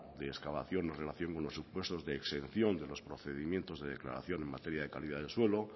de excavación o relación con los supuestos de exención de los procedimientos de declaración en materia de calidad de suelo